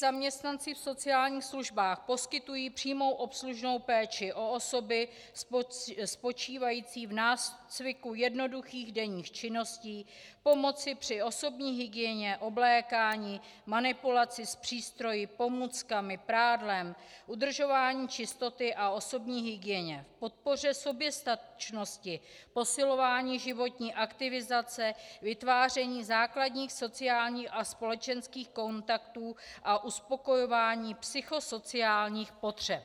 Zaměstnanci v sociálních službách poskytují přímou obslužnou péči o osoby spočívající v nácviku jednoduchých denních činností, pomoc při osobní hygieně, oblékání, manipulaci s přístroji, pomůckami, prádlem, udržování čistoty a osobní hygieně, podpoře soběstačnosti, posilování životní aktivizace, vytváření základních sociálních a společenských kontaktů a uspokojování psychosociálních potřeb.